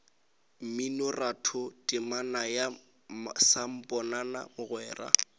mminoratho temana ya samponana mogwera